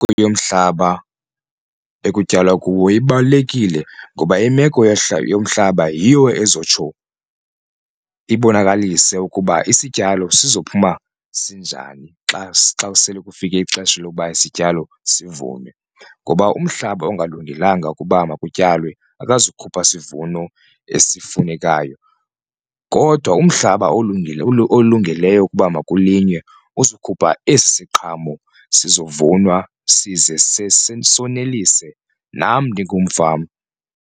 Yomhlaba ekutyalwa kuwo ibalulekile ngoba imeko yomhlaba yiyo ezotsho ibonakalise ukuba isityalo sizophuma sinjani xa xa sele kufike ixesha lokuba isityalo sizivunwe. Ngoba umhlaba ongalungelanga ukuba makutyalwe akazukhupha sivuno esifunekayo kodwa umhlaba olungeleyo ukuba makulinganwe uzokhupha esi siqhamo sizovunwa size sonelise nam ndingumfama.